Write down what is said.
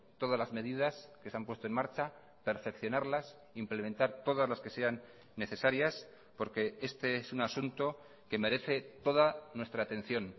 todas las medidas que se han puesto en marcha perfeccionarlas implementar todas las que sean necesarias porque este es un asunto que merece toda nuestra atención